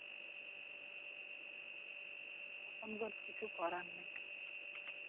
এখন তো আর কিছু করার নেই